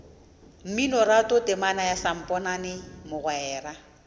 mminoratho temana ya samponana mogwera